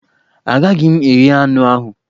Agaghị m eghe anụ ahụ.